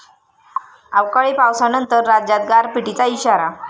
अवकाळी पावसानंतर राज्यात गारपिटीचा इशारा